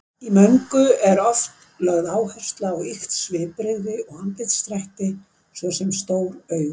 Í möngu er oft lögð áhersla á ýkt svipbrigði og andlitsdrætti, svo sem stór augu.